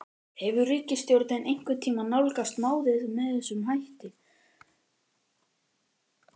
Hefur ríkisstjórnin einhvern tímann nálgast málið með þessum hætti?